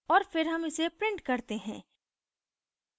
और फिर हम इसे print करते हैं